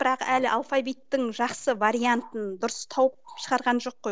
бірақ әлі алфавиттің жақсы вариантын дұрыс тауып шығарған жоқ қой